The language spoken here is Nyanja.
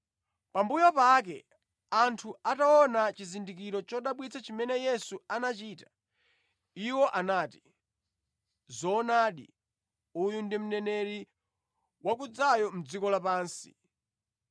Pambuyo pake anthu ataona chizindikiro chodabwitsa chimene Yesu anachita, iwo anati, “Zoonadi uyu ndi Mneneri wakudzayo mʼdziko la pansi.”